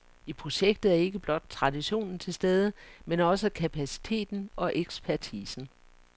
I projektet er ikke blot traditionen til stede, men også kapaciteten og ekspertisen.